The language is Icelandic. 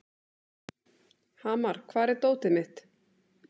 Hamar, hvar er dótið mitt?